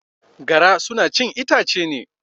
Gara suna chin itace ne.